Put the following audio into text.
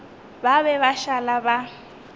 ba be ba šala ba